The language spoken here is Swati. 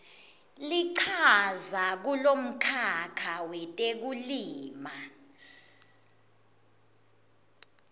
lichaza kulomkhakha wetekulima